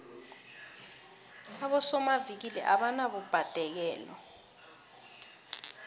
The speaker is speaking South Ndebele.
abosomavikili abanabubhadekelo